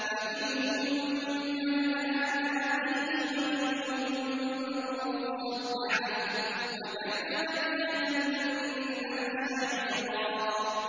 فَمِنْهُم مَّنْ آمَنَ بِهِ وَمِنْهُم مَّن صَدَّ عَنْهُ ۚ وَكَفَىٰ بِجَهَنَّمَ سَعِيرًا